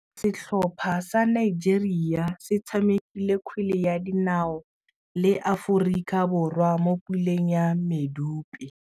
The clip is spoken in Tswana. Setlhopha sa Nigeria se tshamekile kgwele ya dinaô le Aforika Borwa mo puleng ya medupe.